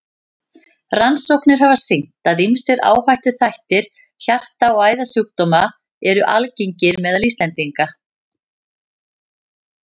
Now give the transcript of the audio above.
Rannsóknir hafa sýnt, að ýmsir áhættuþættir hjarta- og æðasjúkdóma eru algengir meðal Íslendinga.